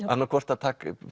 annað hvort að taka